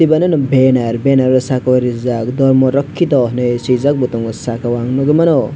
bonoh banner banner o sakao rijak dharma rakhito hinui swijak bo tongo sakao nugwimano.